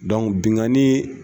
Dɔnku binkannii